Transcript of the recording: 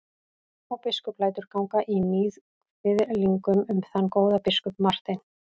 Og biskup lætur ganga í níðkviðlingum um þann góða biskup Martein.